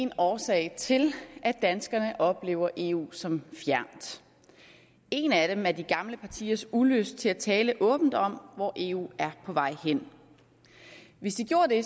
én årsag til at danskerne oplever eu som fjern en af dem er de gamle partiers ulyst til at tale åbent om hvor eu er på vej hen hvis de gjorde det